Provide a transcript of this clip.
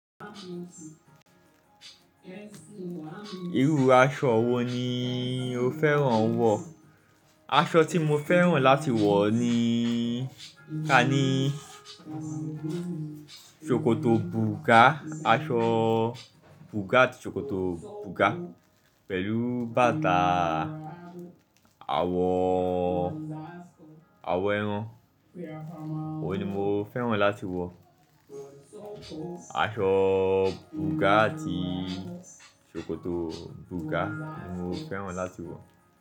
Irú aṣọ wo ni o fẹ́ràn wọ̀? Aṣọ tí mo fẹ́ràn láti wọ̀ ni ka ní ṣòkòtò bùgá, aṣọ bùgá àti ṣòkòtò bùgá pẹ̀lú bàtà àwọ, àwọ ẹran. Óun ni mo fẹ́ràn láti wọ̀. Aṣọ bùgá àti ṣòkòtò bùgá ni mo fẹ́ràn láti wọ̀